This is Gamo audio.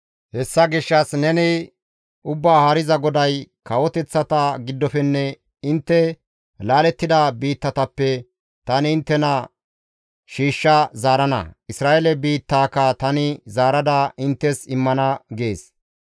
«Hessa gishshas neni, ‹Ubbaa Haariza GODAY: kawoteththata giddofenne intte laalettida biittatappe tani inttena shiishsha zaarana; Isra7eele biittaaka tani zaarada inttes immana› gees.